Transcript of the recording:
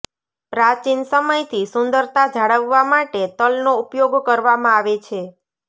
પ્રાચીન સમયથી સુંદરતા જાળવવા માટે તલનો ઉપયોગ કરવામાં આવે છે